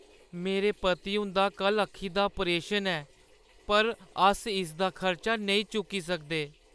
मेरे पति हुंदा कल्ल अक्खी दा ऑपरेशन ऐ पर अस इसदा खर्चा नेईं चुक्की सकदे।